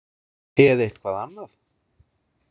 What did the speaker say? Eða eitthvað annað?